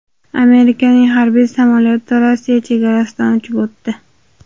Amerikaning harbiy samolyoti Rossiya chegarasidan uchib o‘tdi.